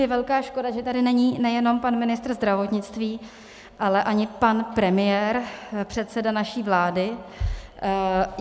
Je velká škoda, že tady není nejenom pan ministr zdravotnictví, ale ani pan premiér, předseda naší vlády.